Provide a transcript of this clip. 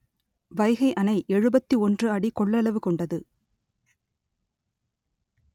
வைகை அணை எழுபத்தி ஒன்று அடி கொள்ளளவு கொண்டது